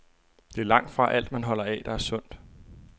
Det er langtfra alt, man holder af, der er sundt.